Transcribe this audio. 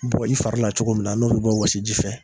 Bɔ i fari la cogo min na n'o bɛ bɔ wsi ji fɛ.